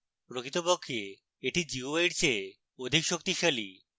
প্রকৃতপক্ষে এটি gui in চেয়ে অধিক শক্তিশালী